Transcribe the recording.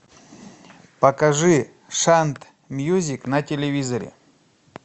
покажи шант мьюзик на телевизоре